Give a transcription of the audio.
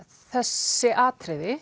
þessi atriði